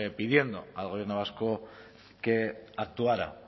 pidiendo al gobierno vasco que actuara